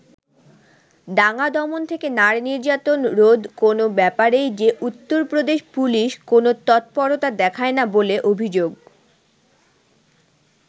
দাঙ্গা দমন থেকে নারী-নির্যাতন রোধ কোনও ব্যাপারেই যে উত্তরপ্রদেশ পুলিশ কোনও তৎপরতা দেখায় না বলে অভিযোগ।